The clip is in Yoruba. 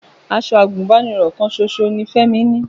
Aṣọ àgùnbánirọ̀ kan ṣoṣo ni Fẹ́mi ni